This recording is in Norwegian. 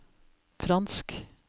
fransk